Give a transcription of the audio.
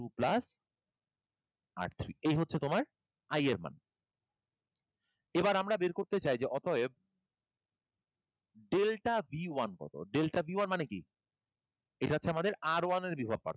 two plus R three এই হচ্ছে তোমার I এর মান। এবার আমরা বের করতে চাই যে অতএব delta b one কতো? Delta b one মানে কি? এটা হচ্ছে আমার R one এর বিভব পার্থক্য